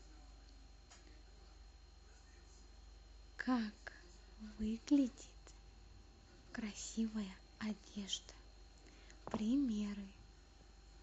как выглядит красивая одежда примеры